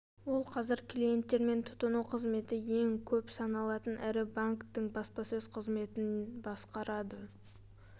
ол қазір клиенттер мен тұтыну қызметі ең көп саналатын ірі банктің баспасөз қызметін басқарады